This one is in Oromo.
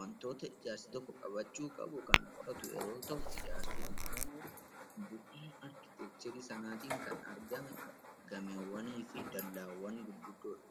wantoota ijaarsi tokko qabachuu qabu kan qoratu yeroo ta'u, ijaarsi immoo gumaacha arkiteekcharii sanaatiin kan argame gamoowwanii fi dallaawwan ta'uu mala.